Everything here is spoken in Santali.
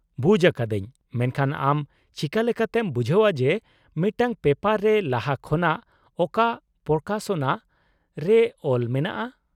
ᱵᱩᱡᱽ ᱟᱠᱟᱫᱟᱹᱧ ! ᱢᱮᱱᱠᱷᱟᱱ ᱟᱢ ᱪᱤᱠᱟᱹ ᱞᱮᱠᱟᱛᱮᱢ ᱵᱩᱡᱷᱟᱹᱣᱟ ᱡᱮ ᱢᱤᱫᱴᱟᱝ ᱯᱮᱯᱟᱨ ᱨᱮ ᱞᱟᱦᱟ ᱠᱷᱚᱱᱟᱜ ᱚᱠᱟ ᱯᱨᱚᱠᱟᱥᱚᱱᱟ ᱨᱮ ᱚᱞ ᱢᱮᱱᱟᱜᱼᱟ ?